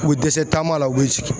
U bɛ dɛsɛ taama la u be sigi